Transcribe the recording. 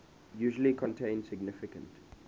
usually contain significant